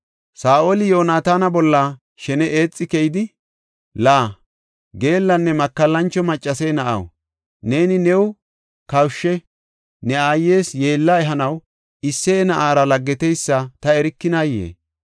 Saa7oli Yoonataana bolla shene eexi keyidi, “La, geellanne makallancho maccase na7aw, neeni new kawushe, ne aayes yeella ehanaw Isseye na7aara laggeteysa ta erikinayee?